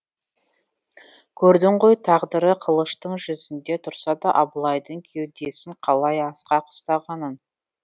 көрдің ғой тағдыры қылыштың жүзінде тұрса да абылайдың кеудесін қалай асқақ ұстағанын